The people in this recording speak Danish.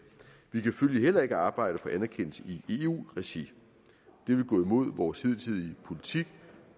vi kan følgelig heller ikke arbejde for anerkendelse i eu regi det vil gå imod vores hidtidige politik